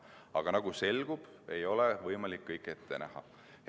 Aga nagu selgub, ei ole võimalik kõike ette näha.